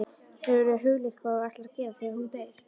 Hefurðu hugleitt hvað þú ætlar að gera þegar hún deyr?